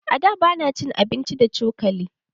A da, ba na cin abinci da cokali.